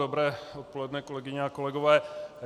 Dobré odpoledne, kolegyně a kolegové.